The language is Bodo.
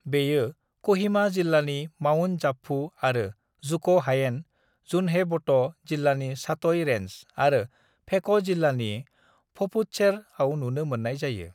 "बेयो क'हिमा जिल्लानि माउन्ट जापफु आरो जुक' हायेन, जुन्हेब'ट' जिल्लानि सात'ई रेन्ज आरो फेक जिल्लानि पफुत्सेर'आव नुनो मोन्नाय जायो।"